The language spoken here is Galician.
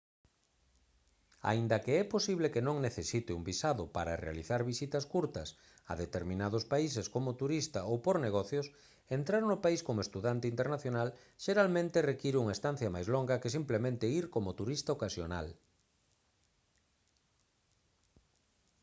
aínda que é posible que non necesite un visado para realizar visitas curtas a determinados países como turista ou por negocios entrar no país como estudante internacional xeralmente require unha estancia máis longa que simplemente ir como turista ocasional